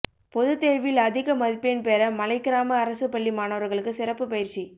பொதுத்தேர்வில் அதிக மதிப்பெண் பெற மலைக்கிராம அரசு பள்ளி மாணவர்களுக்கு சிறப்பு பயிற்சி